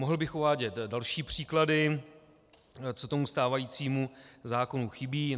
Mohl bych uvádět další příklady, co tomu stávajícímu zákonu chybí.